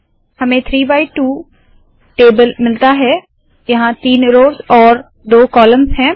हमें 3 by 2 table मिलता है यहाँ तीन रोव्स और दो कॉलम्स है